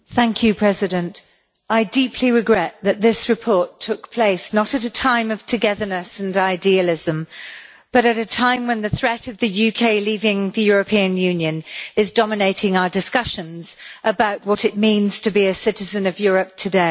Mr President, I deeply regret that this report took place not at a time of togetherness and idealism but at a time when the threat of the UK leaving the European Union is dominating our discussions about what it means to be a citizen of Europe today.